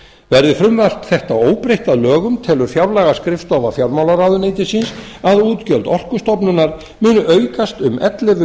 verði frumvarp þetta óbreytt að lögum telur fjárlagaskrifstofa fjármálaráðuneytisins að útgjöld orkustofnunar muni aukast um ellefu